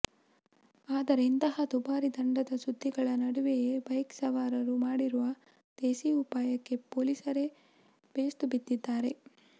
ಆದರೆ ಇಂತಹ ದುಬಾರಿ ದಂಡದ ಸುದ್ದಿಗಳ ನಡುವೆಯೇ ಬೈಕ್ ಸವಾರರು ಮಾಡಿರುವ ದೇಸೀ ಉಪಾಯಕ್ಕೆ ಪೊಲೀಸರೇ ಬೇಸ್ತು ಬಿದ್ದಿದ್ದಾರೆ